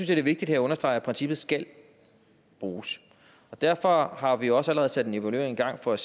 det er vigtigt her at understrege at princippet skal bruges derfor har vi også allerede sat en evaluering i gang for at